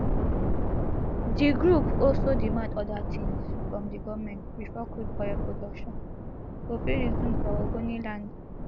di group also demand oda tins from di goment bifor crude oil production go fit resume for ogoniland